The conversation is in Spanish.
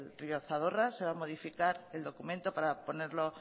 río zadorra se va a modificar el documento para ponerlo